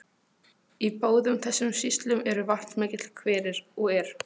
Í báðum þessum sýslum eru vatnsmiklir hverir, og er